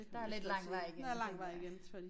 Der lidt lang vej igen tænker jeg